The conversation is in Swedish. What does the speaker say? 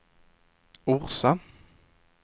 Orsa